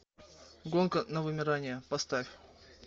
гонка на вымирание поставь